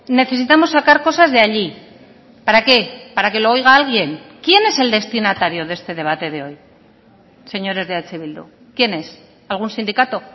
necesitamos sacar cosas de allí para qué para que lo oiga alguien quién es el destinatario de este debate de hoy señores de eh bildu quién es algún sindicato